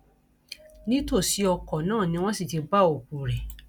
nítòsí ọkọ náà ni wọn sì ti bá òkú rẹ